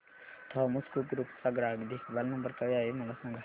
Thomas Cook group चा ग्राहक देखभाल नंबर काय आहे मला सांगा